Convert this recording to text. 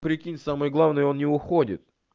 прикинь самое главное он не уходит